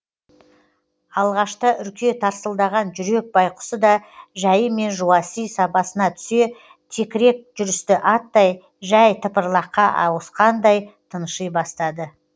алғашта үрке тарсылдаған жүрек байқұсы да жәйімен жуаси сабасына түсе текірек жүрісті аттай жәй тыпырлаққа ауысқандай тынши бастады